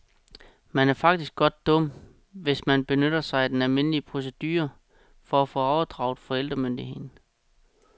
Men er faktisk godt dum, hvis man benytter sig af den almindelige procedure for at få overdraget forældremyndigheden.